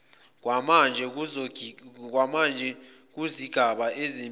kwamanje kuzigaba zezemithi